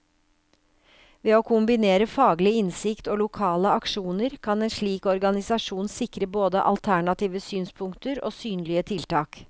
Ved å kombinere faglig innsikt og lokale aksjoner, kan en slik organisasjon sikre både alternative synspunkter og synlige tiltak.